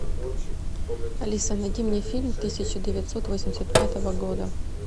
алиса найди мне фильм тысяча девятьсот восемьдесят пятого года